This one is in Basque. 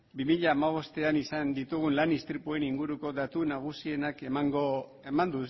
bi mila hamabostean izan ditugun lan istripuen inguruko datu nagusienak eman